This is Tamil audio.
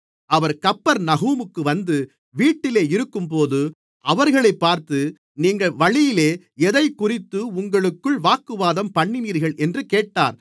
அவர் கப்பர்நகூமுக்கு வந்து வீட்டிலே இருக்கும்போது அவர்களைப் பார்த்து நீங்கள் வழியிலே எதைக்குறித்து உங்களுக்குள் வாக்குவாதம்பண்ணினீர்கள் என்று கேட்டார்